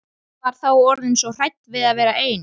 Ég var þá orðin svo hrædd við að vera ein.